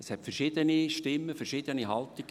Es gab verschiedene Stimmen, verschiedene Haltungen.